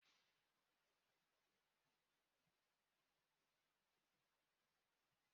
Agụ bụ otu n'ime nke ezinụlọ nwamba